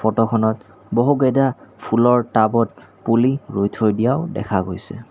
Photo খনত বহুকেইটা ফুলৰ টাবত পুলি ৰুই থৈ দিয়াও দেখা পোৱা গৈছে।